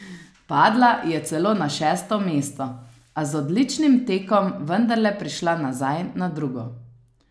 Padla je celo na šesto mesto, a z odličnim tekom vendarle prišla nazaj na drugo.